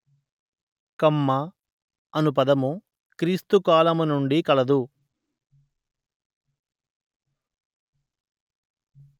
కమ్మ అను పదము క్రీస్తు కాలము నుండి కలదు